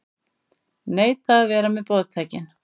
Neita að vera með boðtækin